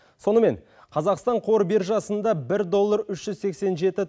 сонымен қазақстан қор биржасында бір доллар үш жүз сексен жеті